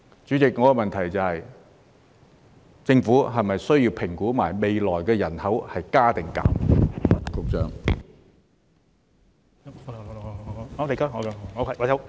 主席，我的補充質詢是，政府是否需要一併評估未來人口是增加或減少？